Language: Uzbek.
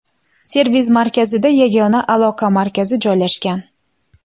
Servis-markazida yagona aloqa markazi joylashgan.